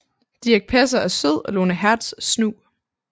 Dirch Passer er sød og Lone Hertz snu